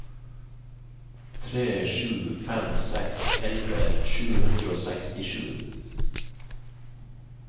tre sju fem seks elleve sju hundre og sekstisju